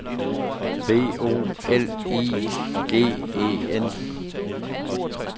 B O L I G E N